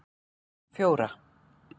fjóra